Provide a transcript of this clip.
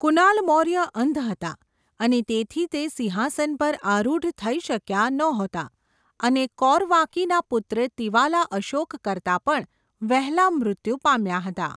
કુનાલ મૌર્ય અંધ હતા અને તેથી તે સિંહાસન પર આરૂઢ થઈ શક્યા નહોતા અને કૌરવાકીના પુત્ર તિવાલા અશોક કરતા પણ વહેલા મૃત્યુ પામ્યા હતા.